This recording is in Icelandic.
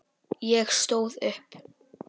Ég stóð upp.